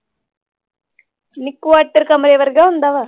ਨੀ quarter ਕਮਰੇ ਵਰਗੇ ਹੁੰਦਾ ਵਾ?